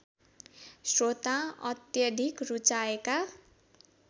श्रोताले अत्याधिक रुचाएका